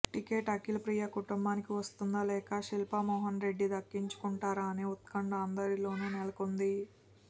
ticket Akhilapriya కుటుంబానికి వస్తుందా లేక శిల్పా మోహన్ రెడ్డి దక్కించుకుంటారా అనే ఉత్కంఠ అందరిలోను నెలకొంది